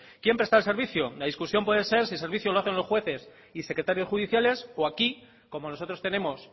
quién presta el servicio la discusión puede ser si el servicio lo hacen los jueces y secretarios judiciales o aquí como nosotros tenemos